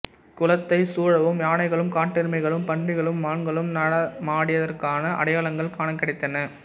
குளத்தைச் சூழவும் யானைகளும் காட்டெருமைகளும் பன்றிகளும் மான்களும் நடமாடியதற்கான அடையாளங்கள் காணக் கிடைத்தன